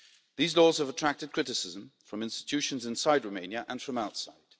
These laws have attracted criticism from institutions inside Romania and from outside.